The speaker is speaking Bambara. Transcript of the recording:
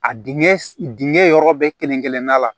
A dingɛ dingɛ yɔrɔ bɛɛ kelen-kelen na